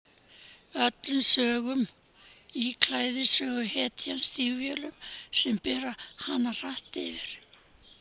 Í öllum sögunum íklæðist söguhetjan stígvélum sem bera hana hratt yfir.